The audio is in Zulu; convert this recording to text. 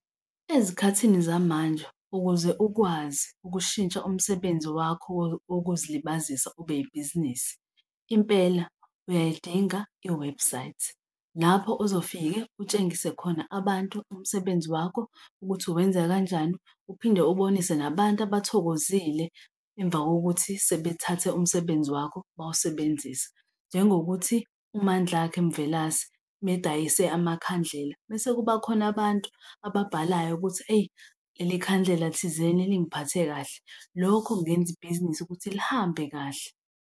Ezikhathini zamanje ukuze ukwazi ukushintsha umsebenzi wakho wokuzilibazisa ube yibhizinisi, impela uyayidinga iwebhusayithi lapho uzofike utshengise khona abantu umsebenzi wakho ukuthi uwenza kanjani, uphinde ubonise nabantu abathokozile emva kokuthi sebethathe umsebenzi wakho bawusebenzisa, njengokuthi uMandlakhe Mvelase uma edayise amakhandlela mese kuba khona abantu ababhalayo ukuthi eyi leli khandlela thizeni lingiphathe kahle. Lokho kungenza ibhizinisi ukuthi lihambe kahle.